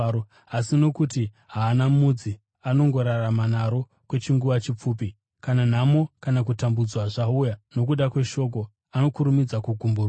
Asi nokuti haana mudzi, anongorarama naro kwechinguva chipfupi. Kana nhamo kana kutambudzwa zvauya nokuda kweshoko, anokurumidza kugumburwa.